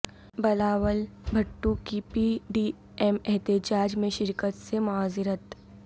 بلاول بھٹو کی P D M احتجاج میں شرکت سے معذرت